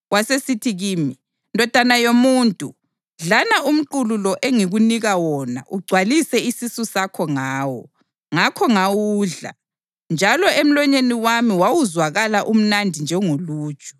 Wasesithi kimi, “Ndodana yomuntu, dlana umqulu lo engikunika wona ugcwalise isisu sakho ngawo.” Ngakho ngawudla, njalo emlonyeni wami wawuzwakala umnandi njengoluju.